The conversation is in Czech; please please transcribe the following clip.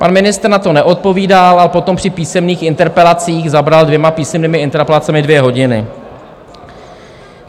Pan ministr na to neodpovídal a potom při písemných interpelacích zabral dvěma písemnými interpelacemi dvě hodiny.